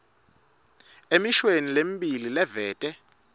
emishweni lemibili livete